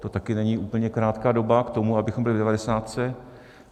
To taky není úplně krátká doba k tomu, abychom byli v devadesátce.